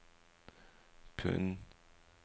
pund